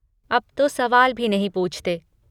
अब तो सवाल भी नहीं पूछते।